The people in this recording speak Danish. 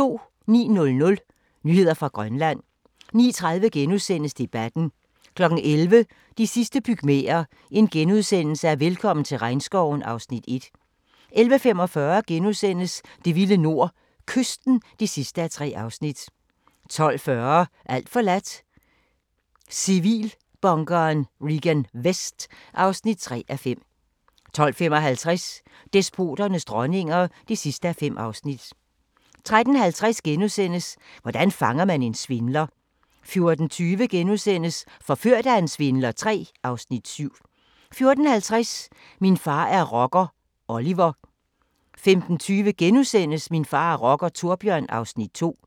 09:00: Nyheder fra Grønland 09:30: Debatten * 11:00: De sidste pygmæer: Velkommen til regnskoven (Afs. 1)* 11:45: Det vilde nord – Kysten (3:3)* 12:40: Alt forladt – Civilbunkeren Regan Vest (3:5) 12:55: Despoternes dronninger (5:5) 13:50: Hvordan fanger man en svindler? * 14:20: Forført af en svindler III (Afs. 7)* 14:50: Min far er rocker – Oliver 15:20: Min far er rocker - Thorbjørn (Afs. 2)*